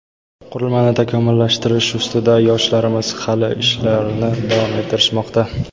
qurilmani takomillashtirish ustida yoshlarimiz hali ishlarni davom ettirishmoqda.